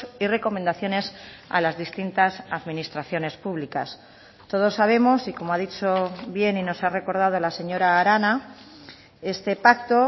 y recomendaciones a las distintas administraciones públicas todos sabemos y como ha dicho bien y nos ha recordado la señora arana este pacto